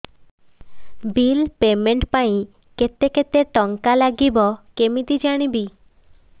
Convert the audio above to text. bill payment ପାଇଁ କେତେ କେତେ ଟଙ୍କା ଲାଗିବ କେମିତି ଜାଣିବି